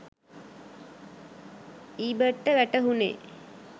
ඊබට්ට වැටහුණේ